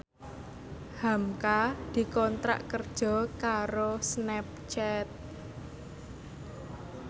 hamka dikontrak kerja karo Snapchat